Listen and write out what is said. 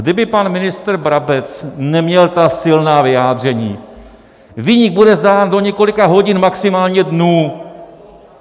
Kdyby pan ministr Brabec neměl ta silná vyjádření: viník bude znám do několika hodin, maximálně dnů.